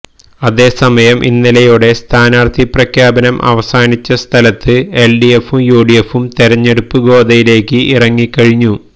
അതേസമയം ഇന്നലെയോടെ സ്ഥാനാര്ത്ഥി പ്രഖ്യാപനം അവസാനിച്ച സ്ഥലത്ത് എല്ഡിഎഫും യുഡിഎഫും തെരഞ്ഞെടുപ്പ് ഗോദയിലേക്ക് ഇറങ്ങി കഴിഞ്ഞു